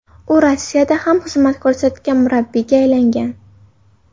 U Rossiyada ham xizmat ko‘rsatgan murabbiyga aylangan.